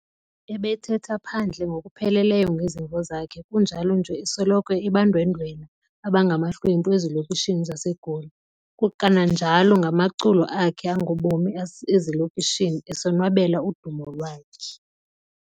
Ebethetha phandle ngokupheleleyo ngezimvo zakhe kunjalo nje esoloko ebandwendwela abangamahlwempu ezilokishini zaseGoli, kananjalo ngamaculo akhe angobomi ezilokishini, esonwabela udumo lwakhe.